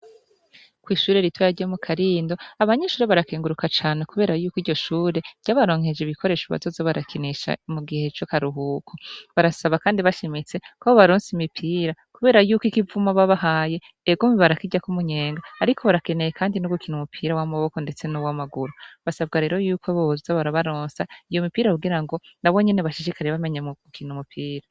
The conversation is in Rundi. Kw'ishure rito yarye mu karindo abanyinshure barakenguruka cane, kubera yuko iryo shure ryabaronkeje ibikoresha batozi barakinisha mu gihe co karuhuko barasaba, kandi bashimitse kabo baronse imipira, kubera yuko ikivuma babahaye egumi barakirya k'umunyenga, ariko barakeneye, kandi n'ugukina umupira w'amaboko, ndetse n'uwo amaguru basabwa rero yuko bbza barabaronsa iyo mipira kugira ngo na bonyene bashishikarire bamenye mu gukina umupira.